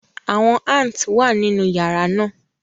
Awọn ants wa ninu yara naa